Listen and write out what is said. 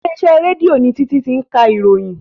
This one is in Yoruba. Ilé iṣẹ́ rédíò ni Títí ti ń ka ìròyìn